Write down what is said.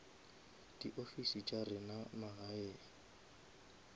di ofisi tša rena magaeng